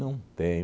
Não tem.